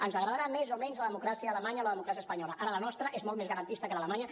ens agradarà més o menys la democràcia a alemanya o la democràcia espanyola ara la nostra és molt més garantista que l’alemanya